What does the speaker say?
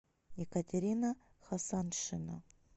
екатерина хасаншина